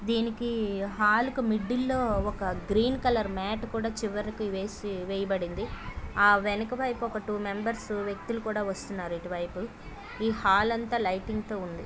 దీనికి హాల్ కి మిడిల్ లొ ఒక గ్రీన్ కలర్ మాట్ కూడ చివరికి వేసి-వేయబడింది ఆ వెనుక వైపు త్వొ మెంబర్స్ వ్యక్తులు కూడ వస్తున్నారు ఇటు వైపు ఈ హాల్ అంత లైటింగ్ తో ఉంది